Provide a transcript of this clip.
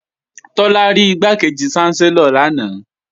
Tọ́lá rí Igbákejì ṣánsẹ́lọ̀ lanaay